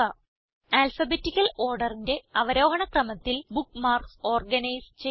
alphabetical orderന്റെ അവരോഹണക്രമത്തിൽ bookmarks organise ചെയ്യുക